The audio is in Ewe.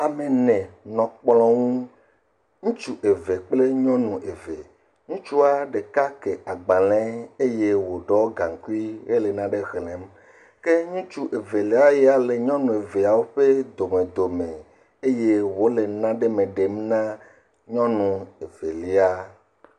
Ame ene nɔ kplɔ̃ ŋu. Ŋutsu eve kple nyɔnu eve. Ŋutsua ɖeka kè agbalẽ eye wòɖɔ gaŋkui hele nane xlẽ. Ke ŋutsu evelia ya le nyɔnu eveawo ƒe domedome. Eye wòle nane me ɖem na nyɔnu evelia.